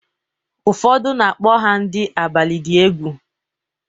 Ụfọdụ na-akpọkwa ha ndị abalị dị egwu.